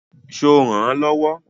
Ṣo rànán lọ́wọ́?